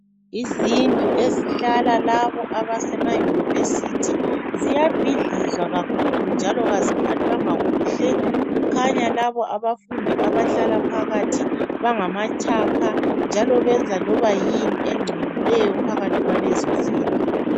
Izindlu ezihlala labo abasema yunivesithi ziyabhidlizwa kakhulu njalo kaziphathwanga kuhle kukhanya labo abafundi abahlala phakathi bangamatshapha njalo benza loba yini engcolileyo phakathi kwalezo zindlu